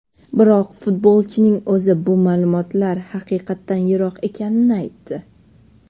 Biroq futbolchining o‘zi bu ma’lumotlar haqiqatdan yiroq ekanini aytdi.